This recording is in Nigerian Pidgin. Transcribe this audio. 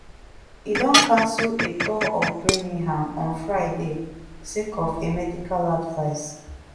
e don cancel a tour of birmingham on friday sake of a medical advice